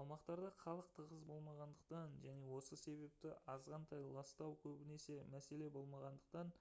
аумақтарда халық тығыз болмағандықтан және осы себепті азғантай ластау көбінесе мәселе болмағандықтан